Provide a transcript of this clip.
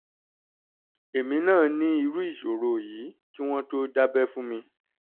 èmi náà ní irú ìṣòro yìí kí wọ́n tó dábẹ́ fún mi